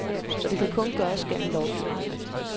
Og det kan kun gøres gennem lovgivning.